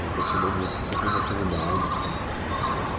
Vou investir na música enquanto ainda tenho idade, disposição, tempo.